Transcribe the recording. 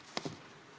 Austatud peaminister!